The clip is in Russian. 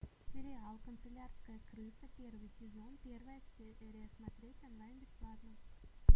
сериал канцелярская крыса первый сезон первая серия смотреть онлайн бесплатно